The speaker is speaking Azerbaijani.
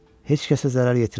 Heç kəsə zərər yetirməz.